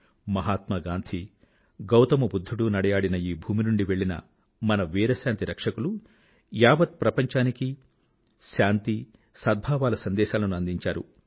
మహాత్మా గాంధీ గౌతమ బుధ్ధుడు నడయాడిన ఈ భూమి నుండి వెళ్ళిన మన వీర శాంతి రక్షకులు యావత్ ప్రపంచానికీ శాంతి సద్భావాల సందేశాలను అందించారు